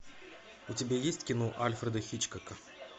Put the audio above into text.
у тебя есть кино альфреда хичкока